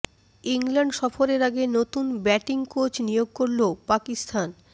England সফরের আগে নতুন ব্যাটিং কোচ নিয়োগ করল পাকিস্তান